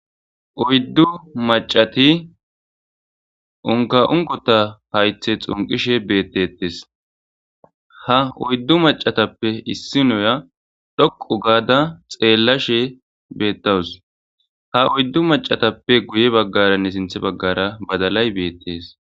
Oyddu macati unka'unqota haythe xunqishe beettetes haoyddu macatappe issi noya dhoqu gaada xeellashe beettawus haoyddu macatappe guye baggaranne sinthe baggara badalay beettees.